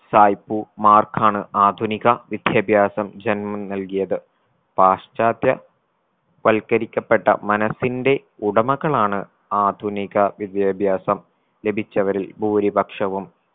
സായിപ്പുമാർക്കാണ് ആധുനിക വിദ്യാഭ്യാസം ജന്മം നൽകിയത് പാശ്ചാത്യ വൽക്കരിക്കപ്പെട്ട മനസ്സിന്റെ ഉടമകളാണ് ആധുനിക വിദ്യാഭ്യാസം ലഭിച്ചവരിൽ ഭൂരിപക്ഷവും